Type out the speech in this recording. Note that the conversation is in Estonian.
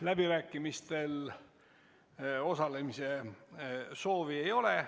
Läbirääkimistel osalemise soovi ei ole.